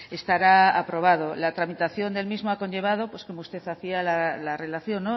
estará aprobado la tramitación del mismo ha conllevado pues como usted hacía la relación